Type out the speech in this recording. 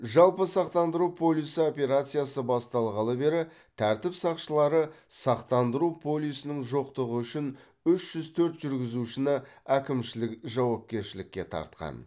жалпы сақтандыру полисі операциясы басталғалы бері тәртіп сақшылары сақтандыру полисінің жоқтығы үшін үш жүз төрт жүргізушіні әкімшілік жауапкершілікке тартқан